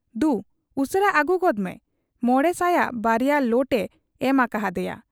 ᱼᱼᱼᱫᱩ ᱩᱥᱟᱹᱨᱟ ᱟᱹᱜᱩ ᱜᱚᱫᱽᱢᱮ ᱾ ᱢᱚᱬᱮ ᱥᱟᱭᱟᱜ ᱵᱟᱨᱭᱟ ᱞᱚᱴ ᱮ ᱮᱢ ᱟᱠᱟ ᱦᱟᱫᱮᱭᱟ ᱾